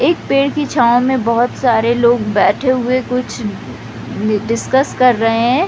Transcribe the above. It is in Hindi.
एक पेड़ की छाव में बहुत सारे लोग बैठे हुए कुछ डिस्कस कर रहे है।